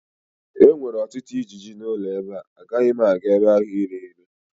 e nwere ọtụtụ ijiji ụlọ ebe a, agaghị m aga ebe ahụ iri nri